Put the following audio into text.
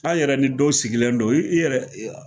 An yɛrɛ ni dɔw sigilen don i yɛrɛ i ya